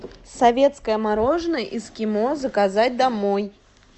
советское мороженое эскимо заказать домой